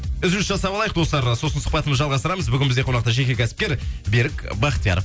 үзіліс жасап алайық достар сосын сұхбатымызда жалғастырамыз бүгін бізде қонақта жеке кәсіпкер берік бахтияров